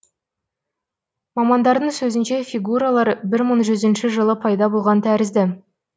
мамандардың сөзінше фигуралар бір мың жүзінші жылы пайда болған тәрізді